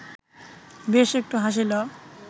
বেশ একটু হাসিল